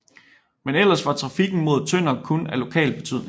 Men ellers var trafikken mod Tønder kun af lokal betydning